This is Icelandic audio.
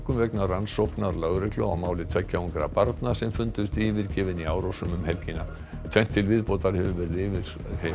vegna rannsóknar lögreglu á máli tveggja ungra barna sem fundust yfirgefin í Árósum um helgina tvennt til viðbótar hefur verið yfirheyrt